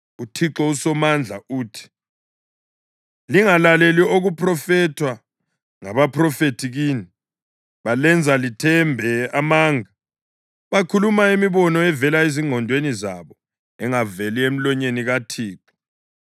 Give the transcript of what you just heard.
UThixo uSomandla uthi: “Lingalaleli okuphrofethwa ngabaphrofethi kini; balenza lithembe amanga. Bakhuluma imibono evela ezingqondweni zabo, engaveli emlonyeni kaThixo.